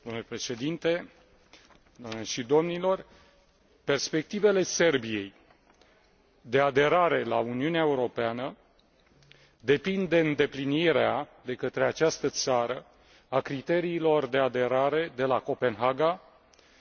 Perspectivele Serbiei de aderare la Uniunea Europeană depind de îndeplinirea, de către această țară, a criteriilor de aderare de la Copenhaga, precum și a condițiilor prevăzute